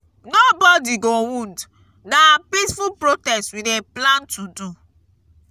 nobodi go wound na peaceful protest we dey plan to do.